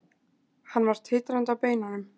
Hann var titrandi á beinunum.